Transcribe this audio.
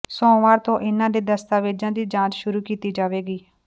ਸੋਮਵਾਰ ਤੋਂ ਇਨ੍ਹਾਂ ਦੇ ਦਸਤਾਵੇਜਾਂ ਦੀ ਜਾਂਚ ਸ਼ੁਰੂ ਕੀਤੀ ਜਾਵੇਗੀ